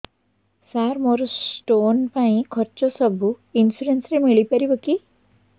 ସାର ମୋର ସ୍ଟୋନ ପାଇଁ ଖର୍ଚ୍ଚ ସବୁ ଇନ୍ସୁରେନ୍ସ ରେ ମିଳି ପାରିବ କି